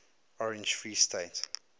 orange free state